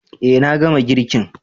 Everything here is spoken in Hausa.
Eh na gama girkin.